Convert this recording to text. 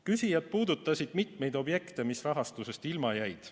Küsijad puudutasid mitmeid objekte, mis rahastusest ilma jäid.